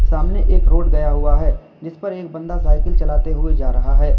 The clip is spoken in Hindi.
सामने एक रोड गया हुआ है जीस पर एक बंदा साइकिल चलाते हुए जा रहा है।